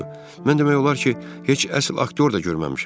Mən demək olar ki, heç əsl aktyor da görməmişəm.